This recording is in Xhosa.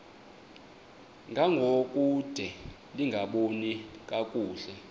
ngangokude lingaboni kakuhle